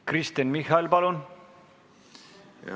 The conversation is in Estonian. Kristen Michal, palun!